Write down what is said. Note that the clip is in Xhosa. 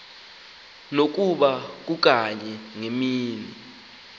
nokuba kukanye ngemini